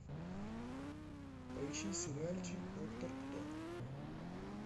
поищи сериальчик доктор кто